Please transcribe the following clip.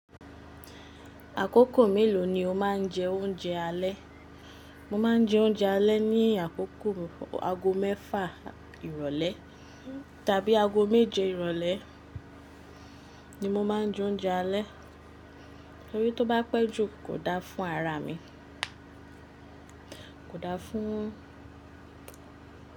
Àkókò mélòó ni o má ń jẹ oúnjẹ alẹ́? Mo má ń jẹ oúnjẹ alẹ́ ní àkókò aago mẹ́fà ìrólé tàbí aago méje ìrólé ni mo má ń jẹ oúnjẹ alẹ́ torí tó bá pẹ́ jù kò da fún ara mi, kò da fún un.